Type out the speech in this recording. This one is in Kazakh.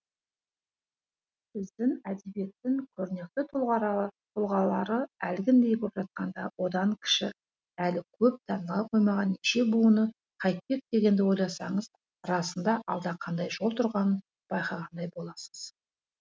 біздің әдебиеттің көрнекті тұлғалары әлгіндей боп жатқанда одан кіші әлі көп таныла қоймаған неше буыны қайтпек дегенді ойласаңыз расында алда қандай жол тұрғанын байқағандай боласыз